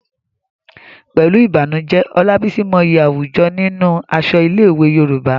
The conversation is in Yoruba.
Pẹ̀lú ìbànújẹ́, Olabisi mọyì àwùjọ nínú aṣọ ilé-ìwé Yorùbá.